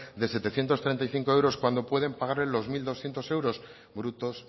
de setecientos treinta y cinco euros cuando pueden pagarle los mil doscientos euros brutos